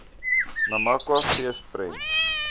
namakwa fees prent